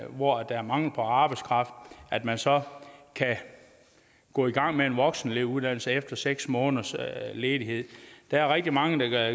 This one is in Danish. hvor der er mangel på arbejdskraft at man så kan gå i gang med en voksenelevuddannelse efter seks måneders ledighed der er rigtig mange der